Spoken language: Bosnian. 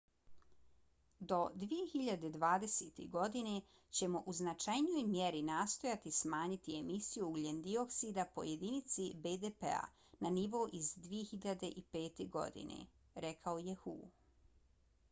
do 2020. godine ćemo u značajnoj mjeri nastojati smanjiti emisiju ugljen dioksida po jedinici bdp-a na nivo iz 2005. godine, rekao je hu